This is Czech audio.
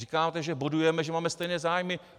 Říkáte, že bodujeme, že máme stejné zájmy.